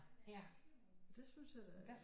Det synes jeg da